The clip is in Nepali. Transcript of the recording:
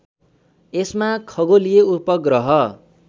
यसमा खगोलीय उपग्रह